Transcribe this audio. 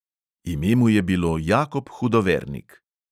Ime mu je bilo jakob hudovernik.